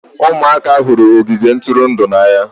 Ụmụaka hụrụ ogige ntụrụndụ n'anya